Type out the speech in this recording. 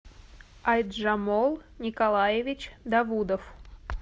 айджамол николаевич давудов